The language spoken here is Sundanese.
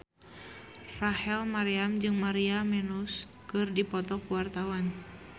Rachel Maryam jeung Maria Menounos keur dipoto ku wartawan